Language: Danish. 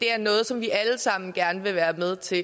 er noget som vi alle sammen gerne vil være med til